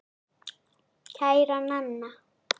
Kæra Nanna.